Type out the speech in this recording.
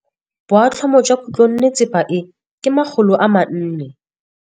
Boatlhamô jwa khutlonnetsepa e, ke 400.